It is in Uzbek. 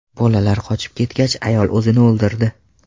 Bolalar qochib ketgach, ayol o‘zini o‘ldirdi.